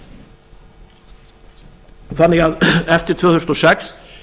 notendur þannig að eftir tvö þúsund og sex